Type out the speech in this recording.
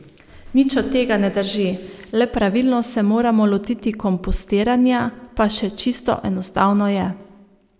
Nič od tega ne drži, le pravilno se moramo lotiti kompostiranja, pa še čisto enostavno je.